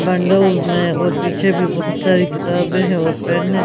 Bundles में और पीछे भी बहुत सारी किताबें हैं और पेन है.